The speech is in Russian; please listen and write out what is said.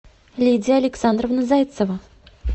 лидия александровна зайцева